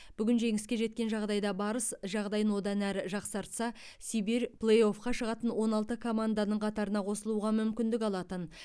бүгін жеңіске жеткен жағдайда барыс жағдайын одан әрі жақсартса сибирь плей оффқа шығатын он алты команданың қатарына қосылуға мүмкіндік алатын